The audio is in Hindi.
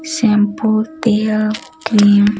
शैंपू तेल क्रीम --